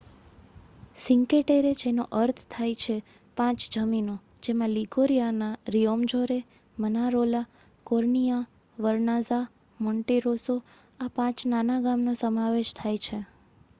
Cinque Terre જેનો અર્થ છે 5 જમીનો તેમાં લિગોરિયાના Riomaggiore Manarola Corniglia Vernazza Monterosso આ 5 નાના ગામ નો સમાવેશ થાય છે